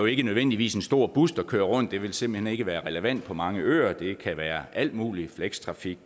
ikke nødvendigvis en stor bus der kører rundt det vil simpelt hen ikke være relevant på mange øer det kan være alt muligt flekstrafik